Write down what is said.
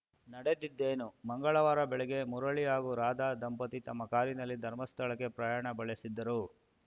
ನಡೆದಿದ್ದೇನು ಮಂಗಳವಾರ ಬೆಳಗ್ಗೆ ಮುರಳಿ ಹಾಗೂ ರಾಧ ದಂಪತಿ ತಮ್ಮ ಕಾರಿನಲ್ಲಿ ಧರ್ಮಸ್ಥಳಕ್ಕೆ ಪ್ರಯಾಣ ಬೆಳೆಸಿದ್ದರು